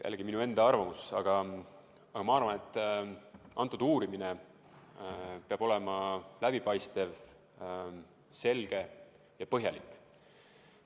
Jällegi minu enda arvamus, aga ma arvan, et kogu uurimine peab olema läbipaistev, selge ja põhjalik.